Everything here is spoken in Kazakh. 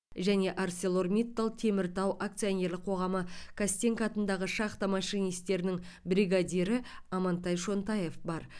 және арселормиттал теміртау акционерлік қоғамы костенко атындағы шахта машинистерінің бригадирі амантай шонтаев бар